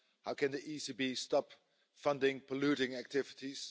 How can the ECB stop funding polluting activities?